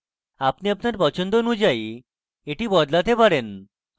আপনি আপনার পছন্দ অনুযায়ী এটি বদলাতে পারেন